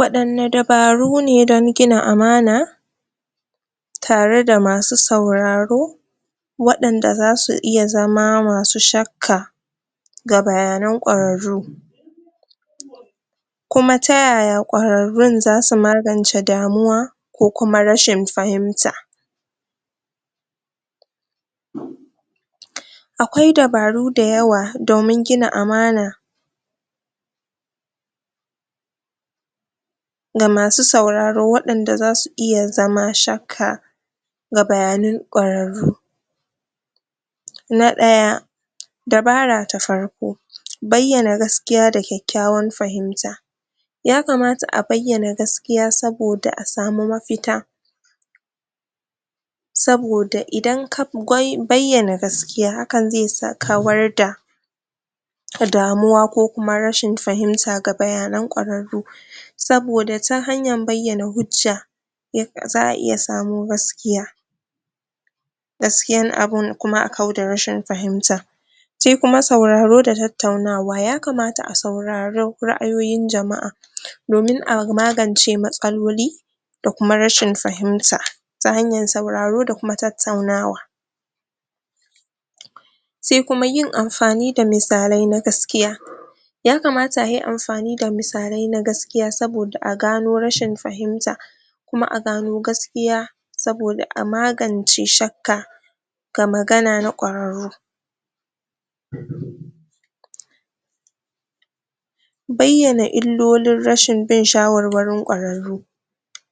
Waɗanne dabaru ne dan gina amana tare da masu sauraro waɗanda zasu iya zama masu shakka ga bayanan ƙwararru kuma ta yaya ƙwararrun zasu magance damuwa ko kuma rashin fahimta akwai dabaru da yawa domin gina amana ga masu sauraro waɗanda zasu iya zama shakka ga bayanan ƙwararru na ɗaya, dabara ta farko, bayyana gaskiya da kyakkyawan fahimta yakamata a bayyana gaskiya saboda a samu mafita saboda idan ka bayyana gaskiya hakan zai kawar da damuwa ko kuma rashin fahimta ga bayanan kwararru saboda ta hanyan bayyana hujja za'a iya samo gaskiya gaskiyan abun kuma a kau da rashin fahimta shi kuma sauraro da tattaunawa yakamata a sauraro ra'ayoyin jama'a domin a magance matsaloli da kuma rashin fahimta ta hanyan sauraro da kuma tattaunawa se kuma yin amfani da misalai na gaskiya yakamata a yi amfani da misalai na gaskiya saboda a gano rashin fahimta kuma a gano gaskiya saboda a magance shakka ga magana na ƙwararru bayyana illolin rashin bin shawarwarin ƙwararru